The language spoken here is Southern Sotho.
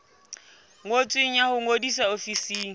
ngotsweng ya ho ngodisa ofising